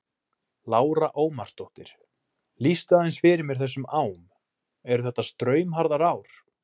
Lára Ómarsdóttir: Lýstu aðeins fyrir mér þessum ám, eru þetta straumharðar ár?